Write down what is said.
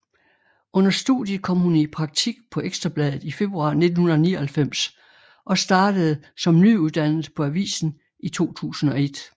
Under studiet kom hun i praktik på Ekstra Bladet i februar 1999 og startede som nyuddannet på avisen i 2001